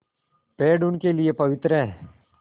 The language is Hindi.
पेड़ उनके लिए पवित्र हैं